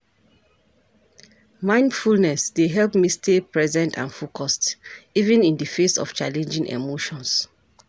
Mindfulness dey help me stay present and focused, even in di face of challenging emotions.